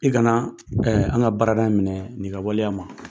I kana an ka baarada in minɛ ni ka waleya ma.